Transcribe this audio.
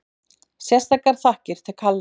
Sérstakar þakkir til Kalla